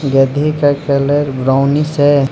गधे का colour brownish है।